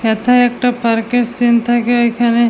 এথায় একটা পার্ক এর সিন্ থাকে এখানে --